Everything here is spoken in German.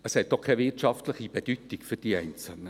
Es hat auch keine wirtschaftliche Bedeutung für die Einzelnen.